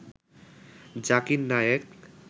Zakir Naik